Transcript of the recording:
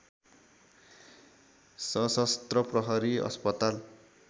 सशस्त्र प्रहरी अस्पताल